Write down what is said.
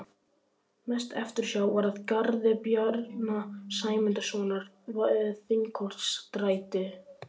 Mest eftirsjá var að garði Bjarna Sæmundssonar við Þingholtsstræti